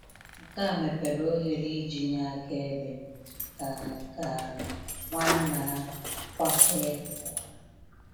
Nke a mepere ohere iji nye akaebe, ka ka Nwanna Kwakye kọwara.